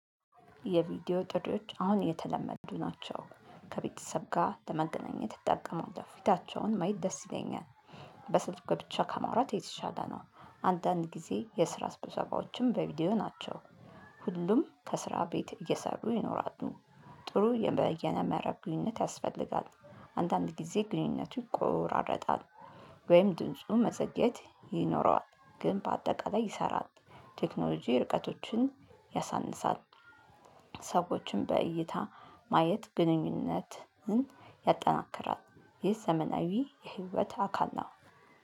የቪዲዮ ጥሪዎች አሁን የተለመዱ ናቸው። ከቤተሰብ ጋር ለመገናኘት እጠቀማለሁ። ፊታቸውን ማየት ደስ ይለኛል። በስልክ ብቻ ከመውራት የተሻለ ነው። አንዳንድ ጊዜ የስራ ስብሰባዎችም በቪዲዮ ናቸው። ሁሉም ከስራ ቤት እየሰሩ ይኖራሉ። ጥሩ የምእየነ መረብ ግንኙነት ያስፈልጋል። አንዳንድ ጊዜ ግንኙነቱ ይቆራረጣል። ወይም ድንጹ መዘግየት ይኖረዋል። ግን በአጠቃላይ ይሰራል። ቴክኖሎጂ ርቀቶችን ያሳንሳል። ሰዎችን በእይታ ማየት ግንኙነትን ያጠናክራል። ይህ ዘመናዊ የህይወት አካል ነው።